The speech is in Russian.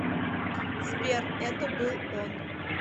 сбер это был он